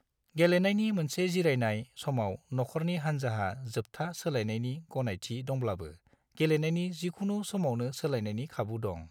गेलेनायनि मोनसे जिरायनाय समाव नखरनि हान्जाहा जोब्था सोलायनायनि गनायथि दंब्लाबो गेलेनायनि जिखुनु समावनो सोलायनायनि खाबु दं।